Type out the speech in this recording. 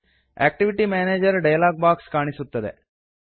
activity manager dialog box ಕಾಣಿಸುತ್ತದೆ